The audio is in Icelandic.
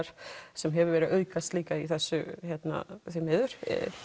sem hefur aukast líka í þessu því miður